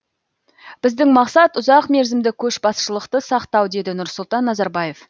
біздің мақсат ұзақ мерзімді көшбасшылықты сақтау деді нұрсұлтан назарбаев